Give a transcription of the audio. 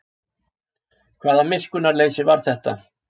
Hvaða miskunnarleysi var þetta?